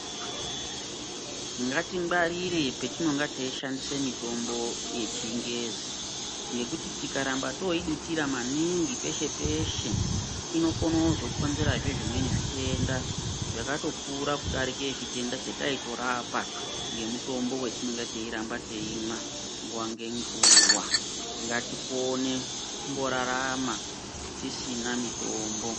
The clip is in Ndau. Ngatingwarire petinonga teishandisa mitombo yechingezi. Ngekuti tikaramba toidutira maningi peshe-peshe inokona kuzokonzerazve zvimweni zvitenda zvakatokura kudarike chitenda chataitorapa ngemutombo vetinonga teiramba teimwa nguva ngenguva, ngatikone kumborarama tisina mitombo.